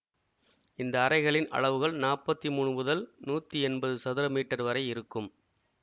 இந்த அறைகளின் அளவுகள் நாப்பத்தி மூனு முதல் நூத்தி எம்பது சதுர மீட்டர் வரை இருக்கும்